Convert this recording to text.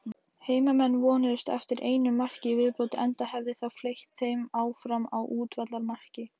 Heimamenn vonuðust eftir einu marki í viðbót enda hefði það fleytt þeim áfram á útivallarmarki.